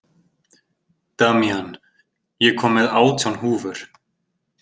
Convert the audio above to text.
Damjan, ég kom með átján húfur!